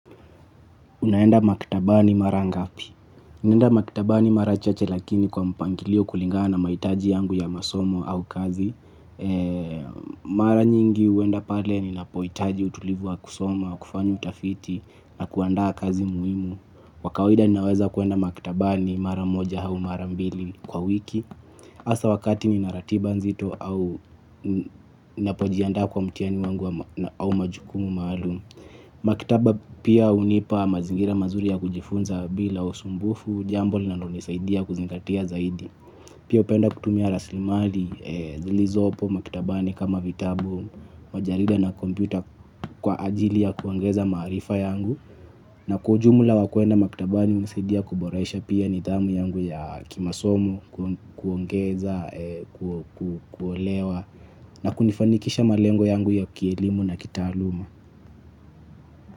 Unaenda maktabani mara ngapi? Ninaenda maktabani mara chache lakini kwa mpangilio kulingana na mahitaji yangu ya masomo au kazi. Mara nyingi huenda pale ninapohitaji utulivu wa kusoma wa kufanya utafiti na kuandaa kazi muhimu. Kwa kawaida ninaweza kuenda maktabani mara moja au mara mbili kwa wiki. Hasa wakati ninaratiba nzito au napojiandaa kwa mtihani wangu au majukumu maalum. Maktaba pia hunipa mazingira mazuri ya kujifunza bila usumbufu, jambo linalonisaidia kuzingatia zaidi. Pia upenda kutumia raslimali, zilizoopo maktabani kama vitabu, majarida na kompyuta kwa ajili ya kuongeza maarifa yangu. Na kwa ujumla wa kwenda maktabani hunisaidia kuboresha pia nithamu yangu ya kimasomo, kuongeza, kuelewa na kunifanikisha malengo yangu ya kielimu na kitaaluma.